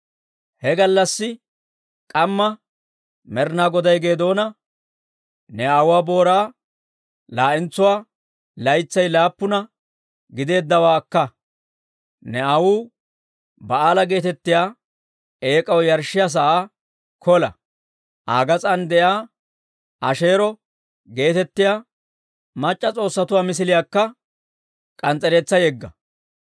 He gallassi k'amma Med'inaa Goday Geedoona, «Ne aawuwaa booraa laa'entsuwaa, laytsay laappuna giddeeddawaa akka. Ne aawuu Ba'aala geetettiyaa eek'aw yarshshiyaa sa'aa kola; Aa gas'aan de'iyaa Asheero geetettiyaa mac'c'a s'oossatuu misiliyaakka k'ans's'ereetsaa yegga.